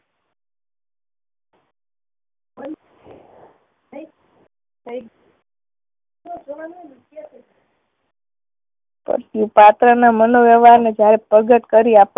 પછી પાત્ર ના મનોવ્યવહાર ને જ્યારે પ્રગટ કરી આપ